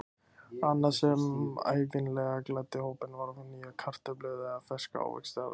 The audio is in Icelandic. Annað sem ævinlega gladdi hópinn var að fá nýjar kartöflur eða ferska ávexti að vestan.